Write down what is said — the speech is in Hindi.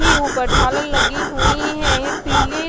ही ऊपर झालर लगी हुईं है ये पीले --